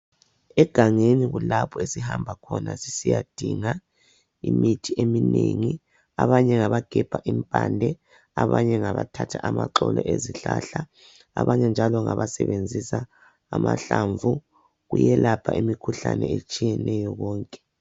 Egangeni kulapho esihamba khona sisiya dinga imithi eminengi abanye ngabagebha impande, abanye ngabathatha amaxolo ezihlahla abanye njalo ngabasebenzisa amahlamvu kuyelapha imikhuhlane etshiyeneyo konke.